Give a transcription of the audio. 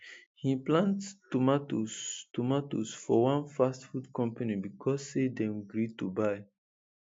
he plant tomatoes tomatoes for one fast food company becos say dem gree to buy